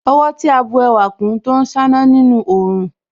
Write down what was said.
Ọwọ́ tí a bù ẹwà kún Tó ń ṣáná nínú òòrùn